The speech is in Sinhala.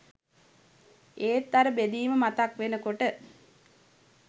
ඒත් අර බෙදීම මතක් වෙනකොට